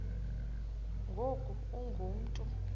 ngoku ungu mntu